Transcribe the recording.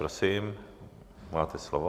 Prosím, máte slovo.